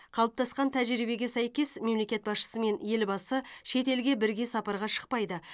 қалыптасқан тәжірибеге сәйкес мемлекет басшысы мен елбасы шет елге бірге сапарға шықпайды